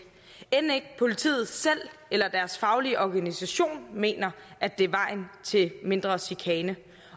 end ikke politiet selv eller deres faglige organisation mener at det er vejen til mindre chikane